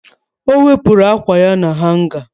Ọ wepụrụ ákwà ya na hanga?